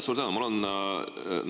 Suur tänu!